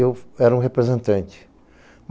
Eu era um representante.